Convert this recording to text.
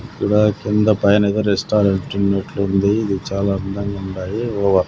ఇక్కడ కింద పైనేదో రెస్టారెంట్ ఉన్నట్లుంది ఇది చాలా అందంగుండాది .